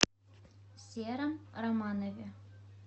сером романове